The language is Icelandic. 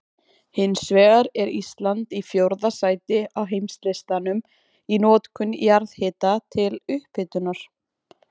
Hins vegar er Ísland í fjórða sæti á heimslistanum í notkun jarðhita til upphitunar.